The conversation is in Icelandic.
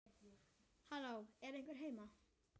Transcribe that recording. Halló, er einhver heima?